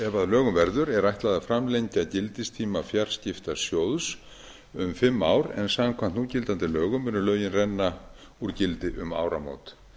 lögum verður er ætlað að framlengja gildistíma fjarskiptasjóðs um fimm ár en samkvæmt núgildandi lögum munu renna lögin renna úr gildi um áramót